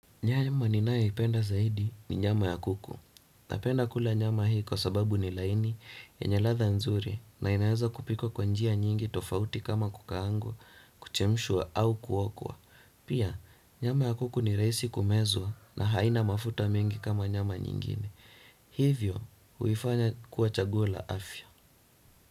Nyama ninayo ipenda zaidi ni nyama ya kuku. Napenda kula nyama hii kwa sababu ni laini yenye latha nzuri na inaeza kupikwa kwa njia nyingi tofauti kama kukaangwa, kuchemshwa au kuokwa. Pia, nyama ya kuku ni rahisi kumezwa na haina mafuta mengi kama nyama nyingine. Hivyo, huifanya kuwa chaguo la afya.